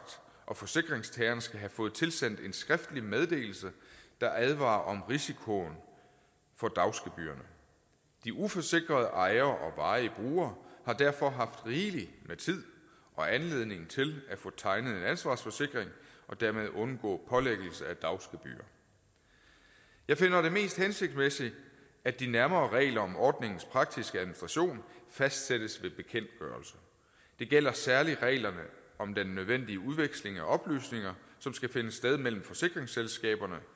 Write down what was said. og forsikringstageren skal have fået tilsendt en skriftlig meddelelse der advarer om risikoen for dagsgebyrerne de uforsikrede ejere og varige brugere har derfor haft rigeligt med tid og anledning til at få tegnet en ansvarsforsikring og dermed undgå pålæggelse af dagsgebyrer jeg finder det mest hensigtsmæssigt at de nærmere regler om ordningens praktiske administration fastsættes ved bekendtgørelse det gælder særlig reglerne om den nødvendige udveksling af oplysninger som skal finde sted mellem forsikringsselskaberne